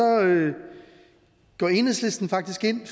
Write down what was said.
går enhedslisten faktisk ind